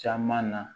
Caman na